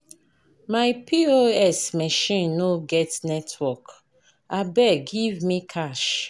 My POS machine no get network, abeg give me cash.